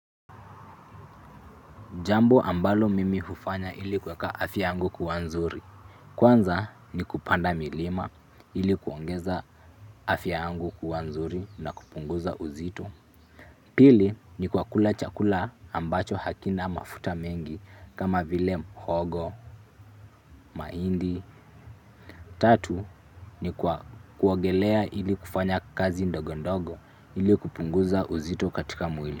Jambo ambalo mimi hufanya ili kuweka afya yangu kuwa nzuri. Kwanza ni kupanda milima ili kuongeza afya yangu kuwa nzuri na kupunguza uzito. Pili ni kwa kula chakula ambacho hakina mafuta mengi kama vile mhogo, mahindi. Tatu ni kwa kuogelea ili kufanya kazi ndogondogo ili kupunguza uzito katika mwili.